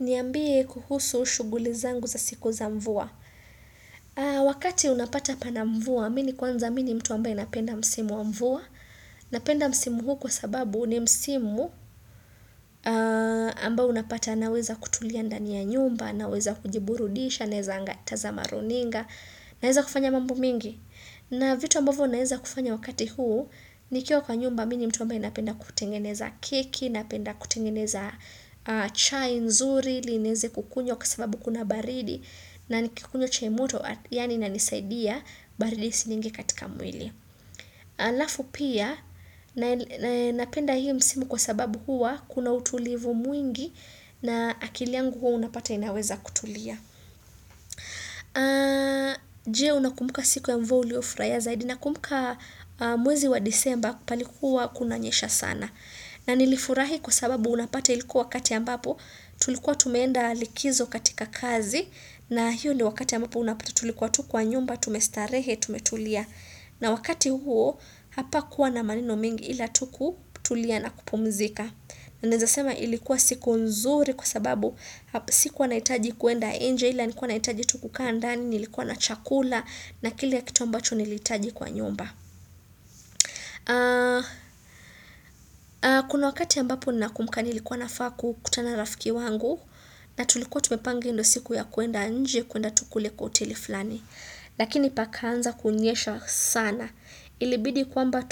Nyambie kuhusu shuguli zangu za siku za mvua. Wakati unapata pana mvua, mini kwanza mini mtu ambaye napenda msimu mvua. Napenda msimu huu kwa sababu nimsimu ambao unapata naweza kutulia ndani ya nyumba, naweza kujiburudisha, nezangatazama runinga, naweza kufanya mambu mingi. Na vitu ambavu naenza kufanya wakati huu, nikiwa kwa nyumba, mini mtu ambaye inapenda kutengeneza keki, inapenda kutengeneza chai nzuri, inenze kukunyo kwa sababu kuna baridi, na nikukunyo chai moto, yani inanisaidia baridi siningi katika mwili. Alafu pia, naenapenda hiyo msimu kwa sababu hua, kuna utulivu mwingi, na akiliangu huu unapata inaweza kutulia. Je unakumuka siku ya mvua uliofurahi zaidi nakumbuka mwezi wa disemba palikuwa kunanyesha sana na nilifurahi kusababu unapati ilikuwa wakati ambapo tulikuwa tumenda likizo katika kazi na hiyo ni wakati ambapo unapati tulikuwa tukuwa nyumba tumestarehe tumetulia na wakati huo hapa kuwa na maneno mingi ila tukutulia na kupumzika na nizasema ilikuwa siku nzuri kwa sababu Sikuwa naitaji kuenda enje, ila nilkuwa naitaji tukukaa andani, nilikuwa na chakula, na kilakitu kituwa mbacho nilitaji kwa nyomba. Kuna wakati ya ambapo ninakumka nilikuwa nafaa kukutana rafiki wangu, na tulikuwa tumepange ndo siku ya kuenda enje, kuenda tukule kwa hoteli flani. Lakini pakaanza kunyesha sana. Ilibidi kwamba